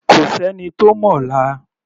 Kò sẹ́ni tó mọ̀la.